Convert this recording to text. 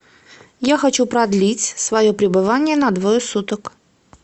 я хочу продлить свое пребывание на двое суток